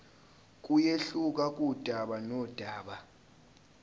kuyehluka kudaba nodaba